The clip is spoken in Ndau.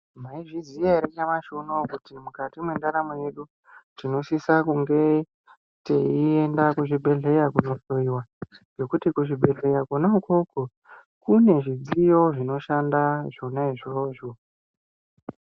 Maizviziya ere nyamashi unouyu kuti mukati mendaramo yedu tinosisa kunge teienda kuzvibhedhlera kundohloyiwa ngekuti kuzvibhedhlera kona ukoko kune zvidziyo zvinoshanda zvona izvozvo.